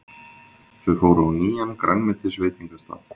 Þau fóru á nýjan grænmetisveitingastað.